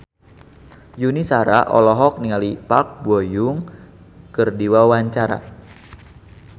Yuni Shara olohok ningali Park Bo Yung keur diwawancara